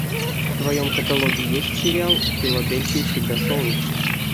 в твоем каталоге есть сериал в филадельфии всегда солнечно